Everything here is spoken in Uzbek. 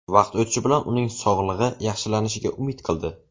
Vaqt o‘tishi bilan uning sog‘lig‘i yaxshilanishiga umid qildi.